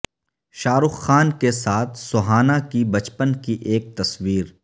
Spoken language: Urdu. شاہ رخ خان کے ساتھ سہانا کی بچپن کی ایک تصویر